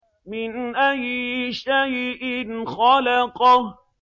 مِنْ أَيِّ شَيْءٍ خَلَقَهُ